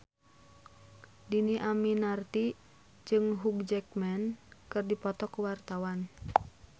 Dhini Aminarti jeung Hugh Jackman keur dipoto ku wartawan